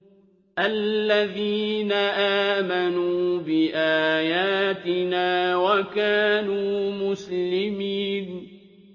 الَّذِينَ آمَنُوا بِآيَاتِنَا وَكَانُوا مُسْلِمِينَ